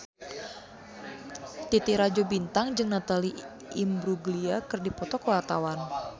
Titi Rajo Bintang jeung Natalie Imbruglia keur dipoto ku wartawan